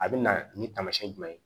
A bɛ na nin taamasiyɛn jumɛn ye